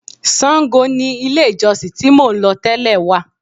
Sango ni ilé-ìjọsìn tí mò ń lọ tẹ́lẹ̀ wà.